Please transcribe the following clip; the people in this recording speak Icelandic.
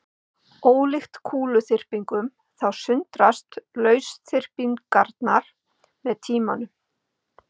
Ólíkt kúluþyrpingum þá sundrast lausþyrpingarnar með tímanum.